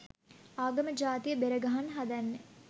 ආගම ජාතිය බෙර ගන්න හදන්නෙ